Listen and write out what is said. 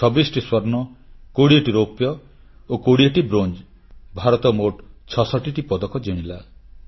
26ଟି ସ୍ୱର୍ଣ୍ଣ 20ଟି ରୌପ୍ୟ ଓ 20ଟି ବ୍ରୋଞ୍ଜ ଭାରତ ମୋଟ 66ଟି ପଦକ ଜିତିଲା